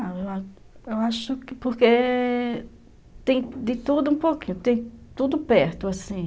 Ah, eu acho que porque tem de tudo um pouquinho, tem tudo perto, assim.